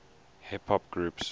hip hop groups